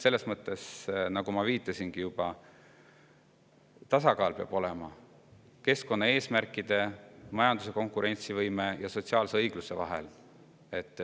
Selles mõttes, nagu ma juba viitasin, peab olema tasakaal keskkonnaeesmärkide, majanduse konkurentsivõime ja sotsiaalse õigluse vahel.